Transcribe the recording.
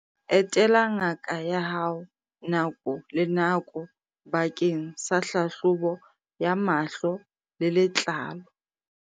Etela ngaka ya hao nako le nako bakeng sa hlahlobo ya mahlo le letlalo.